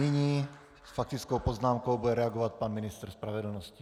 Nyní s faktickou poznámkou bude reagovat pan ministr spravedlnosti.